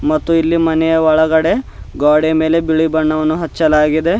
ಮತ್ತು ಇಲ್ಲಿ ಮನೆಯ ಒಳಗಡೆ ಗೋಡೆ ಮೇಲೆ ಬಿಳಿ ಬಣ್ಣವನ್ನು ಹಚ್ಚಲಾಗಿದೆ.